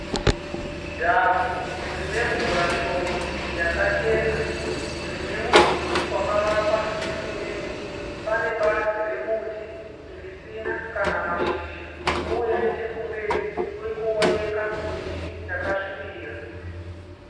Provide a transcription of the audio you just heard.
Dhamhu rine mvura shoma yakachena rine mudhuri wakavakwa nesemende. Pane bazi remuti risina kana mashizha uye nechekumberi kuri kuoneka miti yakasvibira.